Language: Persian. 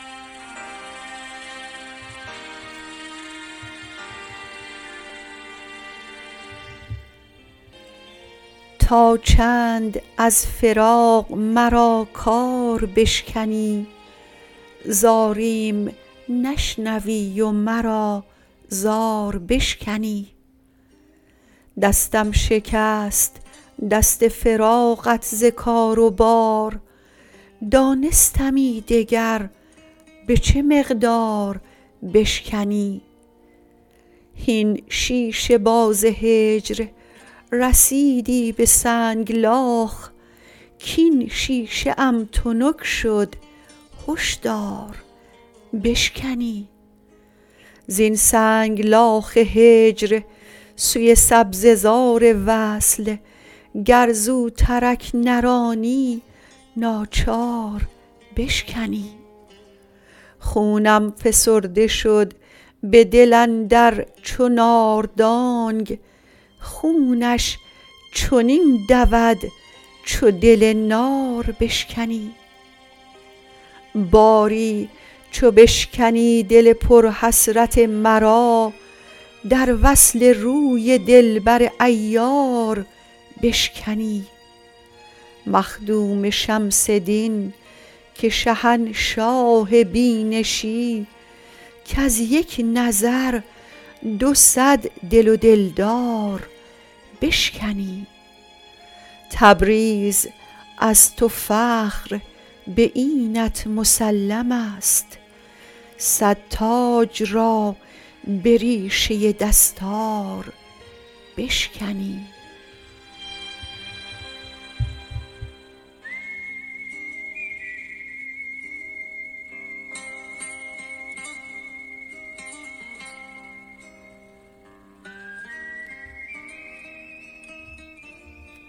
تا چند از فراق مرا کار بشکنی زاریم نشنوی و مرا زار بشکنی دستم شکست دست فراقت ز کار و بار دانستمی دگر به چه مقدار بشکنی هین شیشه باز هجر رسیدی به سنگلاخ کاین شیشه ام تنک شد هشدار بشکنی زین سنگلاخ هجر سوی سبزه زار وصل گر زوترک نرانی ناچار بشکنی خونم فسرده شد به دل اندر چو ناردانگ خونش چنین دود چو دل نار بشکنی باری چو بشکنی دل پرحسرت مرا در وصل روی دلبر عیار بشکنی مخدوم شمس دین که شهنشاه بینشی کز یک نظر دو صد دل و دلدار بشکنی تبریز از تو فخر به اینت مسلم است صد تاج را به ریشه دستار بشکنی